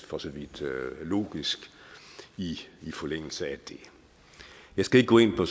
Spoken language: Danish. for så vidt logisk i forlængelse af det jeg skal ikke gå ind på